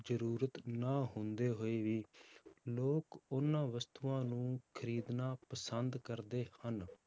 ਜ਼ਰੂਰਤ ਨਾ ਹੁੰਦੇ ਹੋਏ ਵੀ ਲੋਕ ਉਹਨਾਂ ਵਸਤੂਆਂ ਨੂੰ ਖ਼ਰੀਦਣਾ ਪਸੰਦ ਕਰਦੇ ਹਨ।